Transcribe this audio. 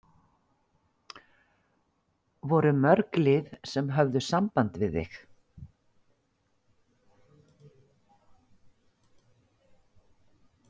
Voru mörg lið sem höfðu samband við þig?